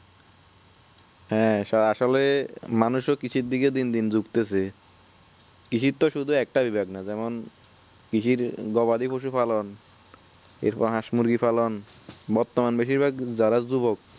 হ্যাঁ আসলে মানুষ ও কৃষির দিক দিন দিন ঝুকতেছে কৃষির তো শুধু একটা বিভাগ না যেমন কৃষির গবাদি কৃষির পালন এরপর হস্ মুরগি পালন বর্তমান বেশিরভাগ যারা যুবক